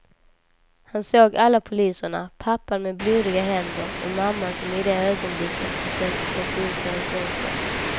Han såg alla poliserna, pappan med blodiga händer och mamman som i det ögonblicket försökte ta sig ut genom fönstret.